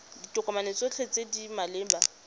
ditokomane tsotlhe tse di maleba